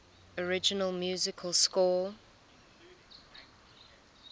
original music score